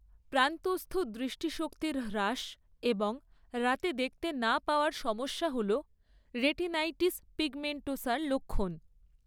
প্রান্তস্থ দৃষ্টিশক্তির হ্রাস এবং রাতে দেখতে না পাওয়ার সমস্যা হল রেটিনাইটিস পিগমেন্টোসার লক্ষণ।